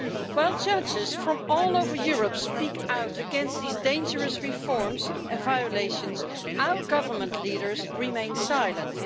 While judges from all over Europe speak out against these dangerous reforms and violations, our government leaders remain silent.